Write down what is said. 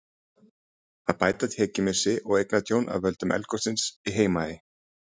Að bæta tekjumissi og eignatjón af völdum eldgossins á Heimaey.